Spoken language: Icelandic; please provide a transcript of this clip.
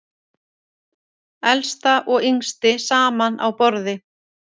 Elsta og yngsti saman á borði